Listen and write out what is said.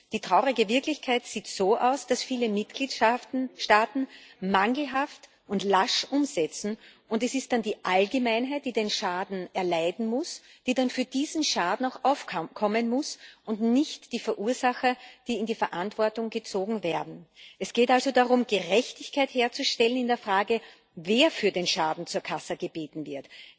Die traurige Wirklichkeit sieht so aus, dass viele Mitgliedstaaten mangelhaft und lasch umsetzen, und es ist dann die Allgemeinheit, die den Schaden erleiden muss, die dann für diesen Schaden auch aufkommen muss, und es sind nicht die Verursacher, die zur Verantwortung gezogen werden. Es geht also darum, Gerechtigkeit herzustellen in der Frage, wer für den Schaden zur Kasse gebeten wird.